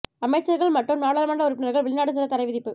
அமைச்சர்கள் மற்றும் நாடாளுமன்ற உறுப்பினர்கள் வெளிநாடு செல்ல தடைவிதிப்பு